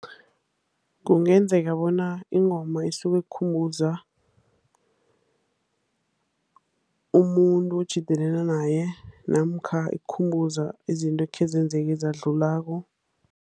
Kungenzeka bona ingoma isuke ikukhumbuze umuntu otjhidelene naye, namkha ikukhumbuze izinto ekhe ezenzeka, ezadlulako.